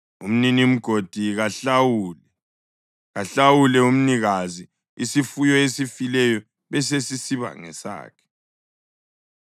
umninimgodi kahlawule; kahlawule umnikazi, isifuyo esifileyo besesisiba ngesakhe.